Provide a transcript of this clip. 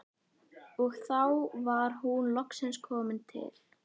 Og þá var hún loksins komin til